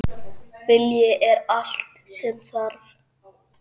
Vilji er allt sem þarf.